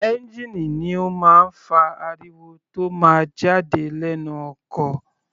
Ẹ́ngìnì ni ó máa ń fa ariwo tó máa ń jáde lẹ́nu ọkọ̀.